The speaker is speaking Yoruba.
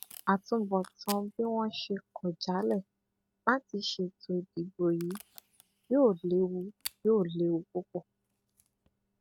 àtúbọtán bí wọn ṣe kọ jálẹ láti ṣètò ìdìbò yìí yóò léwu yóò léwu púpọ